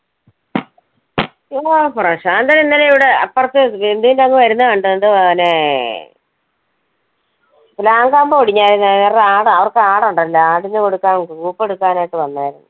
ഉവ്വ പ്രശാന്തൻ ഇന്നലെ ഇവിടെ അപ്പുറത്ത് അങ്ങ് വരുന്ന കണ്ട് മോനേ പ്ലാവും കൊമ്പ് ഓടിഞ്ഞായിരുന്നെ അവർക്ക് ആട് ഉണ്ടല്ലോ അതിന് കൊടുക്കാൻ എടുക്കാൻ ആയിട്ട് വന്നായിരുന്നു.